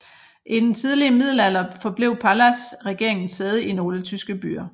I den tidlige middelalder forblev Palas regeringens sæde i nogle tyske byer